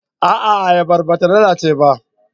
A'a, ayabar ba ta lalace ba.